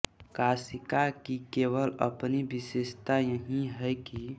काशिका की केवल अपनी विशेषता यही है कि